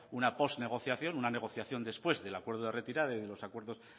una pos negociación una negociación después del acuerdo de retirada y de los acuerdos